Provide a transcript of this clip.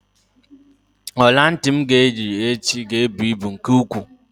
Ọlantị m ga-eyi echi ga-ebu ibu nke ukwuu.